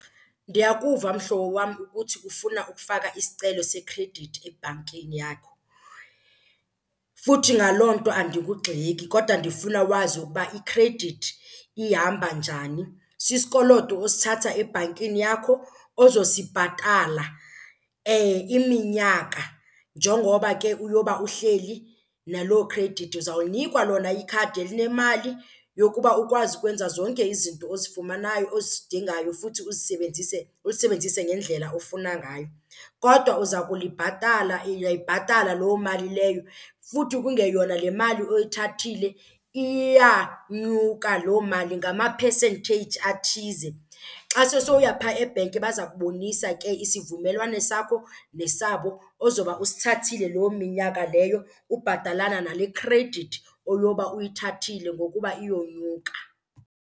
Ndiyakuva mhlobo wam ukuthi ufuna ukufaka isicelo sekhredithi ebhankini yakho futhi ngaloo nto andikugxeki kodwa ndifuna wazi ukuba ikhredithi ihamba njani. Sisikoloto osithatha ebhankini yakho ozosibhatala iminyaka njengoba ke uyoba uhleli naloo khredithi. Uzawunikwa lona ikhadi elinemali yokuba ukwazi ukwenza zonke izinto ozifumanayo, ozidingayo, futhi uzisebenzise ulisebenzise ngendlela ofuna ngayo. Kodwa uza kulibhatala uyayibhatala loo mali leyo futhi kungeyona le mali oyithathile, iyanyuka loo mali ngama-percentage athize. Xa sewusoya phaa ebhenki baza kubonisa ke isivumelwano sakho nesabo ozoba usithathile loo minyaka leyo ubhatalana nale khredithi oyowuba uyithathile ngokuba iyonyuka.